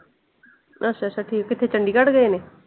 ਅੱਛਾ ਅੱਛਾ ਅੱਛਾ ਠੀਕ। ਕਿਥੇ ਚੰਡੀਗੜ੍ਹ ਗਏ ਨੇ?